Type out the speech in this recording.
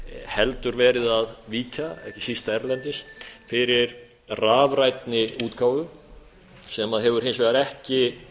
heldur verið að víkja ekki síst erlendis fyrir rafrænni útgáfu sem hefur hins vegar ekki